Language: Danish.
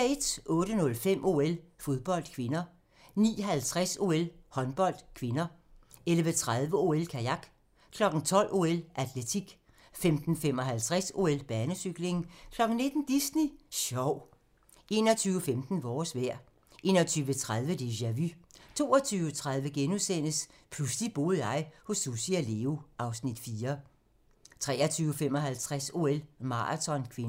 08:05: OL: Fodbold (k) 09:50: OL: Håndbold (k) 11:30: OL: Kajak 12:00: OL: Atletik 15:55: OL: Banecykling 19:00: Disney Sjov 21:15: Vores vejr 21:30: Déjà Vu 23:30: Pludselig boede jeg hos Sussi og Leo (Afs. 4)* 23:55: OL: Maraton (k)